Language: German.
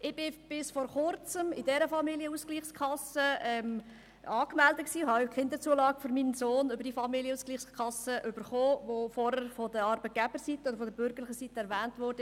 Ich war bis vor Kurzem bei dieser Familienausgleichskasse angemeldet und habe auch die Kinderzulagen für meinen Sohn über diese Kasse erhalten, welche vorher von Arbeitgeberseite und von bürgerlicher Seite erwähnt wurde.